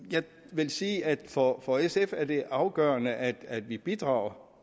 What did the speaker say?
vil sige at for at for sf er det afgørende at at vi bidrager